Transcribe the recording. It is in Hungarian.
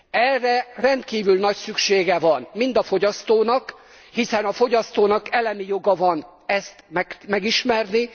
Erre rendkívül nagy szüksége van mind a fogyasztónak, hiszen a fogyasztónak elemi joga van ezt megismerni.